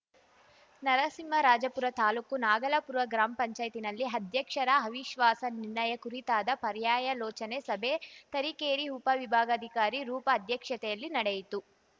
ನರಸಿಂಹರಾಜಪುರ ತಾಲೂಕು ನಾಗಲಾಪುರ ಗ್ರಾಮ್ ಪಂಚಾಯತಿನಲ್ಲಿ ಅಧ್ಯಕ್ಷರ ಅವಿಶ್ವಾಸ ನಿರ್ಣಯ ಕುರಿತಾದ ಪರ್ಯಾಯಲೋಚನೆ ಸಭೆ ತರೀಕೆರೆ ಉಪವಿಭಾಗಾಧಿಕಾರಿ ರೂಪ ಅಧ್ಯಕ್ಷತೆಯಲ್ಲಿ ನಡೆಯಿತು